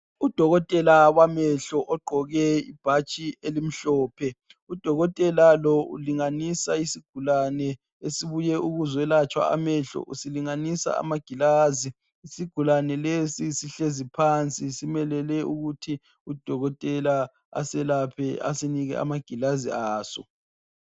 Udolotela wamehlo ogqoke ibhatshi elimhlophe udolotela lo ulinganisa isigulani esibuye ukuzolatshwa amehlo usilinganisa amagilazi, isigulani lesi sihlezi phansi simelele ukuthi udolotela aselapha asinike amagilazi aso